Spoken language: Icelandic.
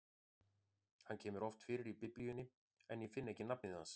Hann kemur oft fyrir í Biblíunni, en ég finn ekki nafnið hans.